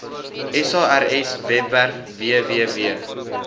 sars webwerf www